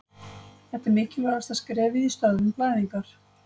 Þetta er mikilvægasta skrefið í stöðvun blæðingar.